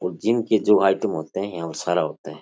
और जिम के जो आईटम होते हैं और सारा होता है।